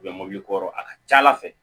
U bɛ mɔbili kɔrɔ a ka ca ala fɛ